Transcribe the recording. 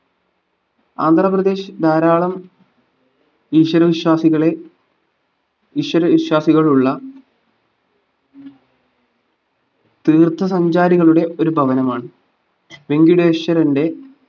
ആന്ധ്രാപ്രദേശ്‌ ധാരാളം ഈശ്വരവിശ്വാസികളെ ഈശ്വരവിഷ്വാസികളുള്ള തീർത്ഥ സഞ്ചാരികളുടെ ഒരു ഭവനമാണ്‌ വെങ്കിടേശ്വരന്റെ